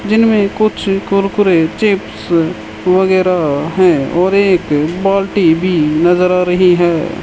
Kitchen में कुछ Kurkure chips वगैरा है और एक बाल्टी भी नजर आ रही है।